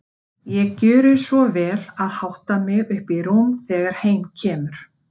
Ég gjöri svo vel að hátta mig upp í rúm þegar heim kemur.